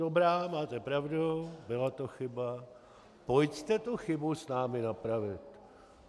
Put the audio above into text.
Dobrá, máte pravdu, byla to chyba, pojďte tu chybu s námi napravit.